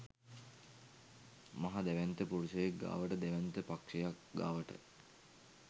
මහ දැවැන්ත පුරුෂයෙක් ගාවට දැවැන්ත පක්ෂයක් ගාවට.